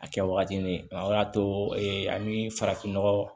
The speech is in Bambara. A kɛwagati ye o y'a to ee ani farafinnɔgɔ